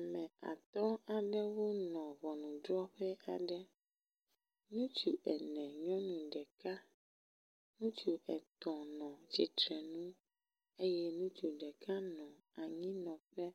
Ame atɔ̃ aɖewo nɔ ʋɔnuɖrɔƒe aɖe, ŋutsu ene nyɔnu ɖeka, ŋutsu etɔ̃ nɔ tsitre nu eye ŋutsu ɖeka nɔ anyi nɔƒe,